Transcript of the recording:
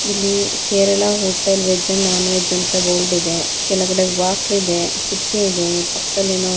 ಇಲ್ಲಿ Kerala hotel veg and non veg board ಇದೆ ಕೆಳಗಡೆ ಬಾಕ್ಲಿದೆ ಕಿಟಕಿ ಇದೆ ಪಕ್ಕದಲ್ಲಿ ಏನೋ --